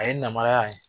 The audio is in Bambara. A ye namaraya ye